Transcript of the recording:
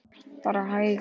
Bara hægar.